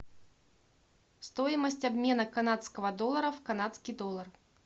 стоимость обмена канадского доллара в канадский доллар